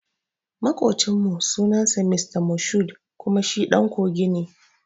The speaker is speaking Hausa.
Makucin mu sunan sa Mr Moshood kuma shi ɗan kogi ne